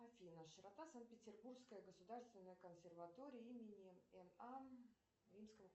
афина широта санкт петербургская государственная консерватория имени н а римского